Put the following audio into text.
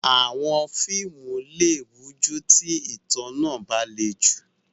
Àwọn fíìmù lè rújú tí ìtàn náà bá le jù.